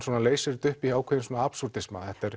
leysir þetta upp í ákveðinn